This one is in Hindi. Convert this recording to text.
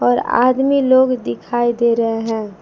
और आदमी लोग दिखाई दे रहे हैं।